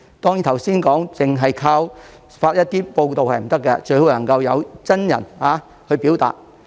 當然，正如剛才所說，政府不能單靠發文回應，最好能夠派員親身表達。